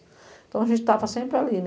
Então a gente estava sempre ali